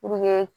Puruke